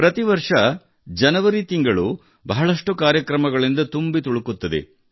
ಪ್ರತಿ ವರ್ಷ ಜನವರಿ ತಿಂಗಳು ಬಹಳಷ್ಟು ಕಾರ್ಯಕ್ರಮಗಳಿಂದ ತುಂಬಿ ತುಳುಕುತ್ತದೆ